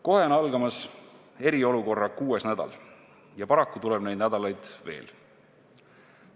Kohe on algamas eriolukorra kuues nädal ja paraku tuleb neid nädalaid veel.